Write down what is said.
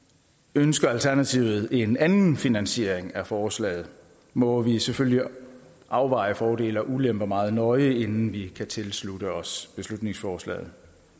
ønsker alternativet en anden finansiering af forslaget må vi selvfølgelig afveje fordele og ulemper meget nøje inden vi kan tilslutte os beslutningsforslaget